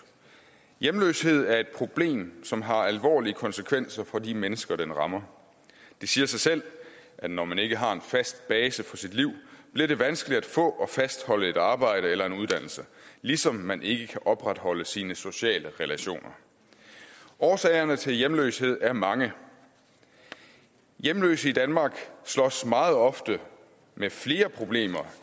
hjemløshed er et problem som har alvorlige konsekvenser for de mennesker den rammer det siger sig selv at det når man ikke har en fast base for sit liv bliver vanskeligt at få og fastholde et arbejde eller en uddannelse ligesom man ikke kan opretholde sine sociale relationer årsagerne til hjemløshed er mange hjemløse i danmark slås meget ofte med flere problemer